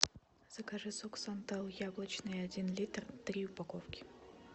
закажи сок сантал яблочный один литр три упаковки